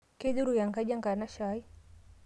keiduruk enkaji enkanashe ai